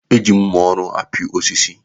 E ji mma ọrụ apị osisi.